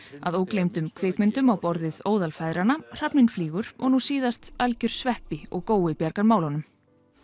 að ógleymdum kvikmyndum á borð við óðal feðranna hrafninn flýgur og ný síðast algjör sveppi og gói bjargar málunum